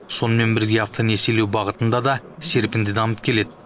сонымен бірге автонесиелеу бағытында да серпінді дамып келеді